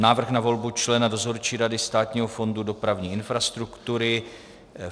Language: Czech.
Návrh na volbu člena Dozorčí rady Státního fondu dopravní infrastruktury